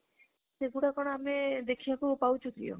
ସେଇଗୁଡ଼ା ଆମେ କଣ ଦେଖିବାକୁ ପାଉଛୁ କି ଆଉ?